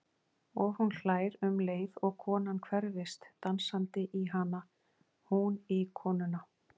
Og hún hlær um leið og konan hverfist dansandi í hana, hún í konuna.